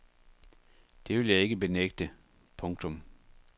Det vil jeg ikke benægte. punktum